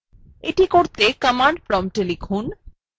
এটি করতে command promptএ লিখুন